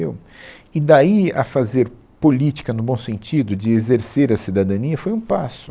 E daí a fazer política no bom sentido, de exercer a cidadania, foi um passo.